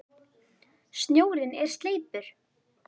Snjórinn er sleipur!